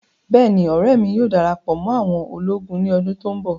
Bẹ́ẹ̀ni, ọrẹ mi yóò darapọ mọ àwọn ologun ni ọdun to nbọ